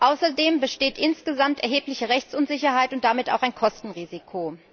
Außerdem besteht insgesamt erhebliche Rechtsunsicherheit und damit auch ein Kostenrisiko.